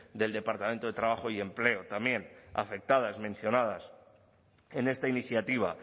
del departamento de trabajo y empleo también afectadas mencionadas en esta iniciativa